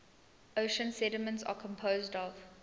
ocean sediments are composed of